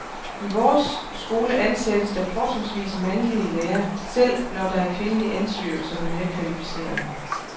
I vores skole ansættes der fortrinsvis mandlige lærere, selv når der er kvindelige ansøgere, som er mere kvalificerede.